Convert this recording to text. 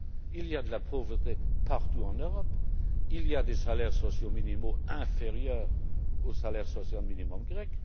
Il y a de la pauvreté partout en Europe. Il y a des salaires sociaux minimaux inférieurs au salaire social minimum grec.